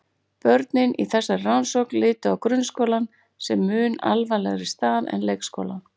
Börnin í þessari rannsókn litu á grunnskólann sem mun alvarlegri stað en leikskólann.